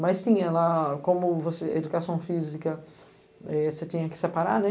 Mas tinha lá, como você educação física eh, você tinha que separar, né?